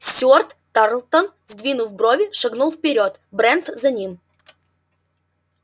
стюарт тарлтон сдвинув брови шагнул вперёд брент за ним